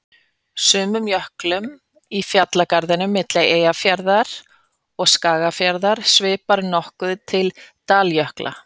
Sumum jöklum í fjallgarðinum milli Eyjafjarðar og Skagafjarðar svipar nokkuð til daljökla.